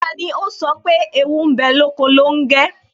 Tani ó sọ pé "Ewu ń bẹ lóko longe?